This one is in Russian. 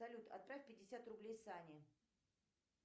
салют отправь пятьдесят рублей сане